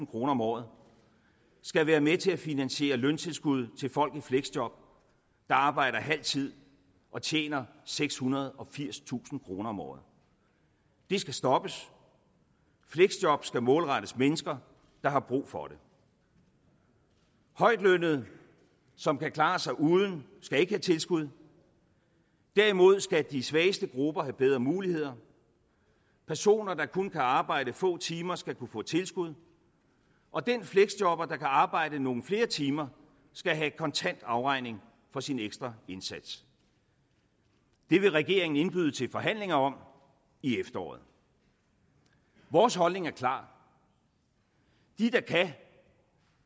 kroner om året skal være med til at finansiere løntilskud til folk i fleksjob der arbejder halvtid og tjener sekshundrede og firstusind kroner om året det skal stoppes fleksjob skal målrettes mennesker der har brug for det højtlønnede som kan klare sig uden skal ikke have tilskud derimod skal de svageste grupper have bedre muligheder personer der kun kan arbejde få timer skal kunne få tilskud og den fleksjobber der kan arbejde nogle flere timer skal have kontant afregning for sin ekstra indsats det vil regeringen indbyde til forhandlinger om i efteråret vores holdning er klar de der kan